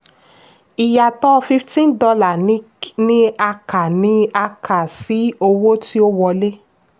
ìyàtò fifteen dollars ni a kà ni a kà sí owó tí ó wọlé.